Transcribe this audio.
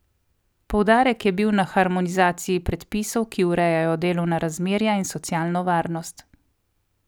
Poudarek je bil na harmonizaciji predpisov, ki urejajo delovna razmerja in socialno varnost.